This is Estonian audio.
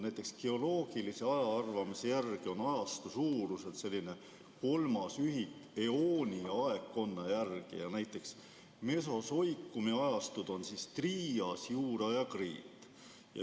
Näiteks geoloogilise ajaarvamise järgi on ajastu suuruselt kolmas ühik eooni ja aegkonna järel, näiteks mesosoikumi ajastud on triias, juura ja kriit.